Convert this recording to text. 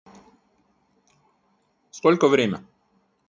сколько время